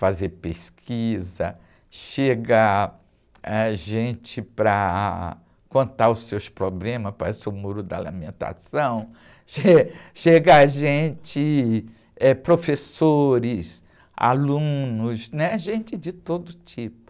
fazer pesquisa, chega ãh, gente para contar os seus problemas, parece o muro da lamentação, che, chega gente, professores, alunos, né? Gente de todo tipo.